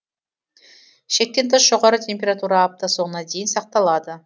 шектен тыс жоғары температура апта соңына дейін сақталады